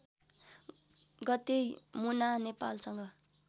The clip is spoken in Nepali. गते मुना नेपालसंग